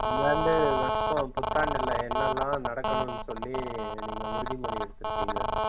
இந்த ஆண்டு வருஷம் புத்தாண்டுல என்ன எல்லா நடக்கணும்னு சொல்லி நீங்க உறுதிமொழி எடுத்து இருக்கீங்க?